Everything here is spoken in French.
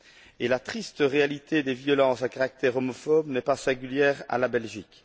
Et la triste réalité des violences à caractère homophobe n'est pas propre à la Belgique.